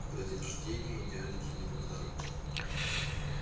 когда день рождения идеальный для него подарок